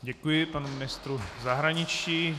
Děkuji panu ministru zahraničí.